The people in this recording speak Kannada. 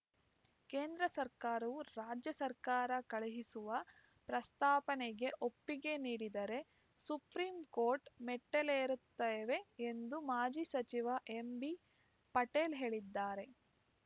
ಕೇಂದ್ರ ಸರ್ಕಾರವು ರಾಜ್ಯ ಸರ್ಕಾರ ಕಳುಹಿಸುವ ಪ್ರಸ್ತಾಪನೆಗೆ ಒಪ್ಪಿಗೆ ನೀಡಿದರೆ ಸುಪ್ರೀಂ ಕೋರ್ಟ್‌ ಮೆಟ್ಟಿಲೇರುತ್ತೇವೆ ಎಂದು ಮಾಜಿ ಸಚಿವ ಎಂಬಿ ಪಾಟೇಲ್‌ ಹೇಳಿದ್ದಾರೆ